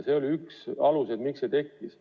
See oli üks põhjuseid, miks see direktiiv tekkis.